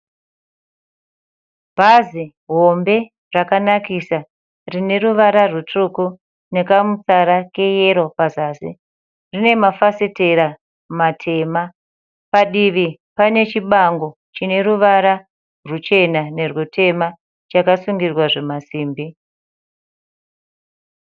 Bhazi hombe rakanakisa. Rine ruvara rutsvuku nekamutsara keyero pazasi. Rine mafafitera matema. Padivi pane chibango chine ruvara ruchena nerwutema chakasungirwa zvimasimbi.